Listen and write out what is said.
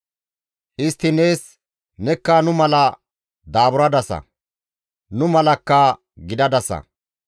Istti nees, ‹Nekka nu mala daaburadasa; nu malakka gidadasa.